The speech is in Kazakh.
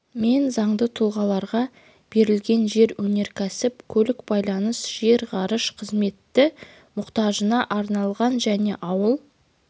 мен заңды тұлғаларға берілген жер өнеркәсіп көлік байланыс жер ғарыш қызметі мұқтажына арналған және ауыл